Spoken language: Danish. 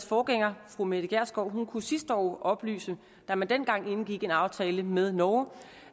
forgænger fru mette gjerskov kunne sidste år oplyse da man dengang indgik en aftale med norge